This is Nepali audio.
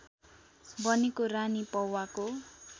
बनेको रानी पौवाको